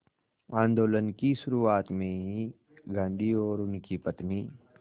आंदोलन की शुरुआत में ही गांधी और उनकी पत्नी